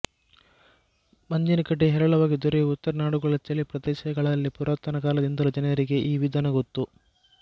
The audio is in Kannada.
ಮಂಜಿನಗಡ್ಡೆ ಹೇರಳವಾಗಿ ದೊರೆವ ಉತ್ತರ ನಾಡುಗಳ ಚಳಿ ಪ್ರದೇಶಗಳಲ್ಲಿ ಪುರಾತನ ಕಾಲದಿಂದಲೂ ಜನರಿಗೆ ಈ ವಿಧಾನ ಗೊತ್ತು